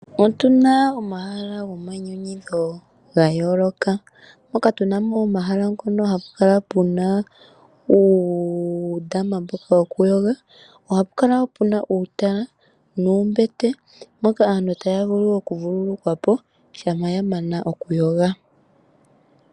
Otuna omahala gomayinyanyudho ga yooloka moka tuna mo omahala ngono hapu kala puna uundama mboka wokuyoga, ohapu kala woo puna uutala nuumbete mboka aantu taya vulu okuvululukwa po shampa ya mana okuyoga.